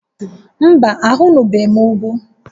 Mba, ahụnubeghị m ugwu